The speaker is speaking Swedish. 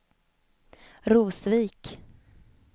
Rosvik